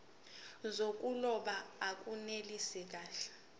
zokuloba akunelisi kahle